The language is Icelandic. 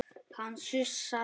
Hann sussaði á